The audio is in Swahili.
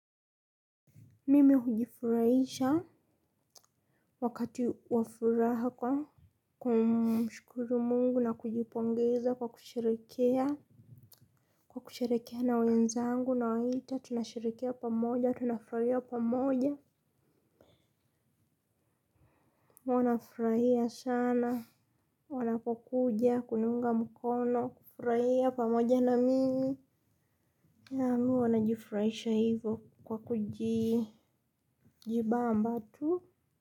Mimi hujifurahisha wakati wa furaha kwa kumshukuru Mungu na kujipongeza kwa kushirikiana na wenzangu. Nawaita, tunasherehekea pamoja, tunafurahia pamoja. Wanafurahia sana wanapokuja, kuniunga mkono, kufurahia pamoja na mimi. Mimi huwa najifurahisha hivo. Kwa kujibamba tu.